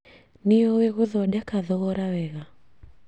Nĩũĩ gũthondeka thogora wega